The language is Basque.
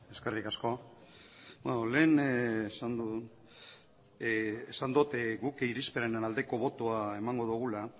eskerrik asko lehen esan dot guk irizpenaren aldeko botoa emango dogula